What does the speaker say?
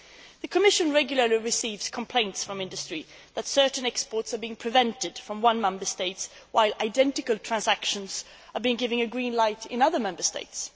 The Commission regularly receives complaints from industry that certain exports are being prevented from entering one Member State while identical transactions are given a green light in other Member States.